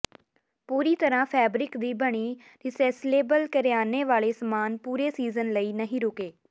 ਪੂਰੀ ਤਰ੍ਹਾਂ ਫੈਬਰਿਕ ਦੀ ਬਣੀ ਰੀਸੇਸਲੇਬਲ ਕਰਿਆਨੇ ਵਾਲੇ ਸਮਾਨ ਪੂਰੇ ਸੀਜ਼ਨ ਲਈ ਨਹੀਂ ਰੁਕੇ